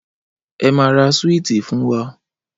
Ẹ máa ra súíìtì fún wa!